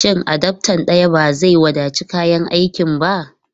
Shin adaftar daya ba zai wadaci kayan aikin ba?